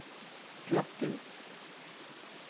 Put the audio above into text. Slattum